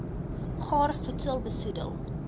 gaar voedsel besoedel